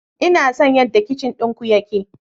Ina son yadda kicin ɗinku yake.